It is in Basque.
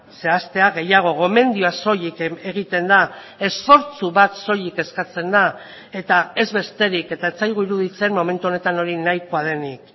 zehaztea gehiago gomendioa soilik egiten da esfortzu bat soilik eskatzen da eta ez besterik eta ez zaigu iruditzen momentu honetan hori nahikoa denik